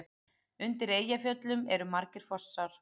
Undir Eyjafjöllum eru margir fossar.